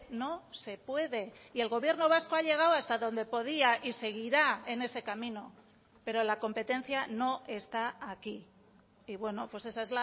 no se puede y el gobierno vasco ha llegado hasta donde podía y seguirá en ese camino pero la competencia no está aquí y bueno pues esa